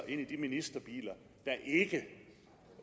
ind i de ministerbiler